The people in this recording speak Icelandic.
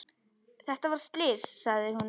Þetta var slys, sagði hún.